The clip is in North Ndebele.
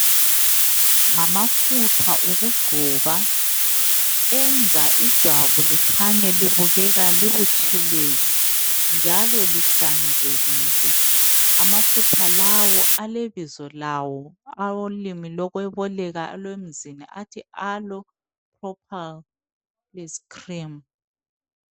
Ngamafutha okugcoba enza ijwabu likhanye libukeka libutshelezi njalo lihlanzekile. Amafutha lawo alebizo lawo alolimi lokweboleka elemzini athi, Aloe Propal's Creme.